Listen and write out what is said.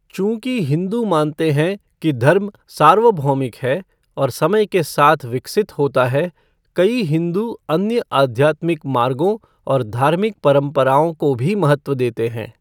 चूँकि हिंदू मानते हैं कि धर्म सार्वभौमिक है और समय के साथ विकसित होता है, कई हिंदू अन्य आध्यात्मिक मार्गों और धार्मिक परंपराओं को भी महत्व देते हैं।